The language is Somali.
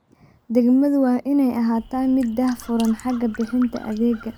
Degmadu waa inay ahaataa mid daah-furan xagga bixinta adeegga.